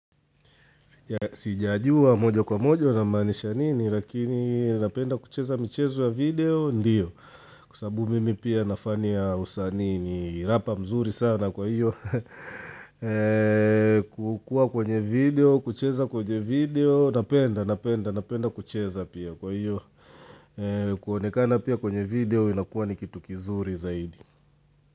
Sijajua moja kwa moja unamaanisha nini Lakini napenda kucheza michezo ya video Ndiyo Kwa sababu mimi pia nafani ya usani ni rapa mzuri sana kwa iyo kukua kwenye video kucheza kwenye video Napenda napenda napenda kucheza pia kwa iyo kuonekana pia kwenye video inakuwa ni kitu kizuri zaidi.